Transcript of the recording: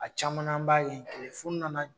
A caman na an b'a ye nana